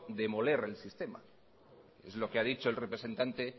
demoler el sistema es lo que ha dicho el representante